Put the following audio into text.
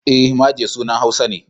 E, Maje sunan Hausa ne.